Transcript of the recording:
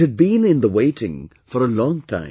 It had been in the waiting for a long time